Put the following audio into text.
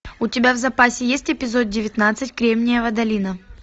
у тебя в запасе есть эпизод девятнадцать кремниевая долина